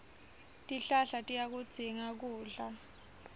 tihlahla tiyakudzinga kudla